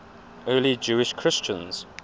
early jewish christians